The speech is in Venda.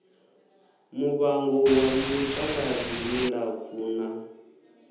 muvango wa mitaladzi milapfu na